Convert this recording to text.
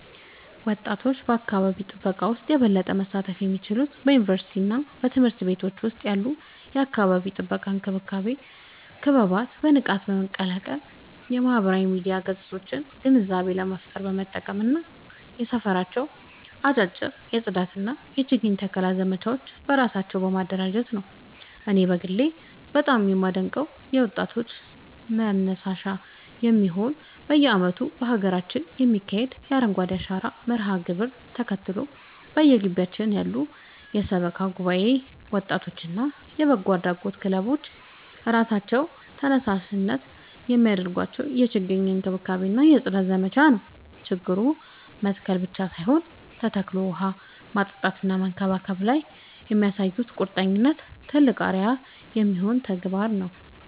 ወጣቶች በአካባቢ ጥበቃ ውስጥ የበለጠ መሳተፍ የሚችሉት በዩኒቨርሲቲዎችና በትምህርት ቤቶች ውስጥ ያሉ የአካባቢ ጥበቃ ክበባትን በንቃት በመቀላቀል፣ የማህበራዊ ሚዲያ ገጾቻቸውን ግንዛቤ ለመፍጠር በመጠቀም እና በየሰፈራቸው አጫጭር የጽዳትና የችግኝ ተከላ ዘመቻዎችን በራሳቸው በማደራጀት ነው። እኔ በግሌ በጣም የማደንቀው የወጣቶች መር ተነሳሽነት በየዓመቱ በሀገራችን የሚካሄደውን የአረንጓዴ አሻራ መርሃ ግብርን ተከትሎ፣ በየግቢያችን ያሉ የሰበካ ጉባኤ ወጣቶችና የበጎ አድራጎት ክለቦች በራሳቸው ተነሳሽነት የሚያደርጉትን የችግኝ እንክብካቤና የጽዳት ዘመቻ ነው። ችግኝ መትከል ብቻ ሳይሆን ተከታትሎ ውሃ ማጠጣትና መንከባከብ ላይ የሚያሳዩት ቁርጠኝነት ትልቅ አርአያ የሚሆን ተግባር ነው።